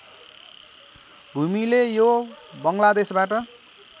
भूमीले यो बङ्गलादेशबाट